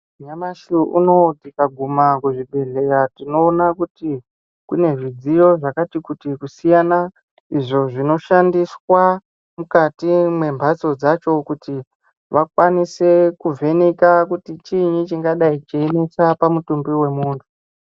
Nyamashi unowu tikaguma kuzvibhehleya tinoona kuti kune zvidziyo zvakati kuti kusiyana izvo zvinoshandiswa mukati mwembatso dzacho kuti vakwanise kuvheneka kuti chinyi chingadai cheyinesa pamutumbi wemuntu.